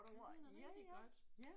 Ja den er rigtig godt